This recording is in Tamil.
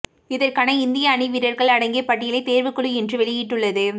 இதற்கான இந்திய அணி வீரர்கள் அடங்கிய பட்டியலை தேர்வுக்குழு இன்று வெளியிட்டுள்ளது